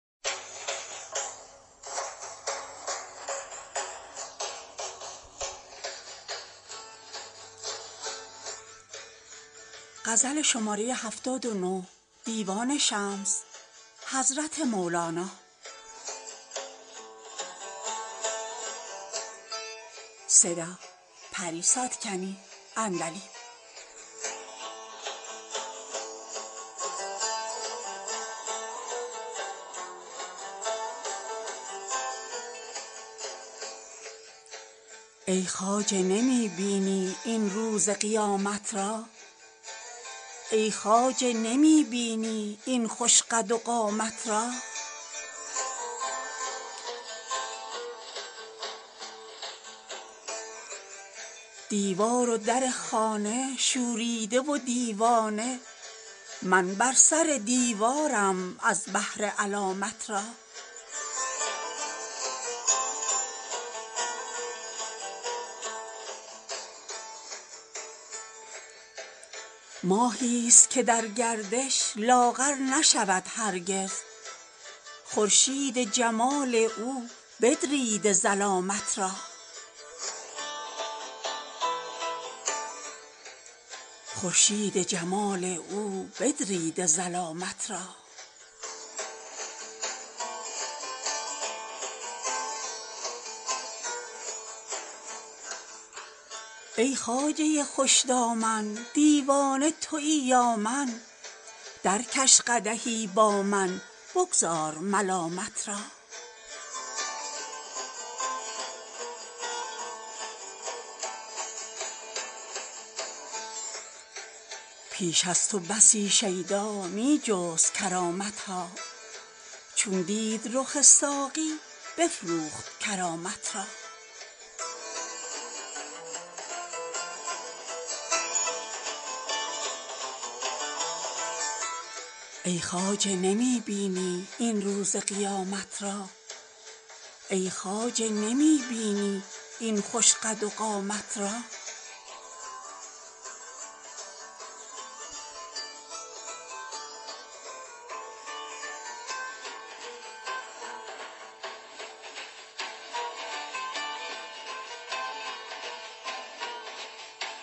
ای خواجه نمی بینی این روز قیامت را ای خواجه نمی بینی این خوش قد و قامت را دیوار و در خانه شوریده و دیوانه من بر سر دیوارم از بهر علامت را ماهیست که در گردش لاغر نشود هرگز خورشید جمال او بدریده ظلامت را ای خواجه خوش دامن دیوانه توی یا من درکش قدحی با من بگذار ملامت را پیش از تو بسی شیدا می جست کرامت ها چون دید رخ ساقی بفروخت کرامت را